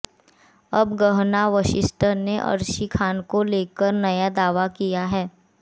अब गहना वशिष्ठ ने अर्शी खान को लेकर नया दावा किया है